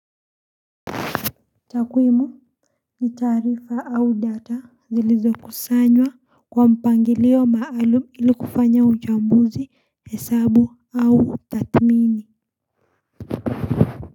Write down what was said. Takwemu ni tarifa au data zilizo kusanywa kwa mpangilio maalum ili kufanya uchambuzi hesabu au tatimini.